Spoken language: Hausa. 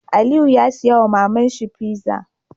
Aliyu ya siya wa maman shi pizza